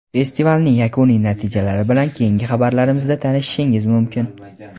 Festivalning yakuniy natijalari bilan keyingi xabarlarimizda tanishishingiz mumkin.